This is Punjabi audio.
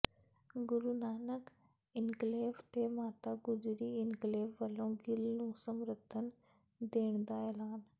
ਗੁਰੂ ਨਾਨਕ ਇਨਕਲੇਵ ਤੇ ਮਾਤਾ ਗੁਜਰੀ ਇਨਕਲੇਵ ਵੱਲੋਂ ਗਿੱਲ ਨੂੰ ਸਮਰਥਨ ਦੇਣ ਦਾ ਐਲਾਨ